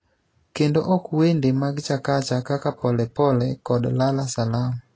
kendo ok wende mag Chakacha kaka Pole Pole kod Lala Salama